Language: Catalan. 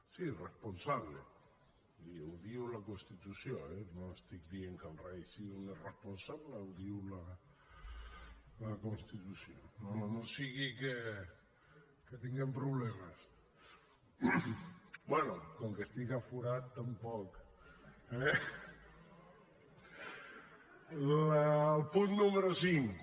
sí irresponsable i ho diu la constitució eh no estic dient que el rei sigui un irresponsable ho diu la constitució no sigui que tinguem problemes bé com que estic aforat tampoc eh el punt número cinc